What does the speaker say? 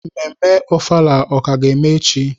Mmemme ofala ka ga-eme echi?